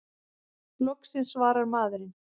Loksins svarar maðurinn!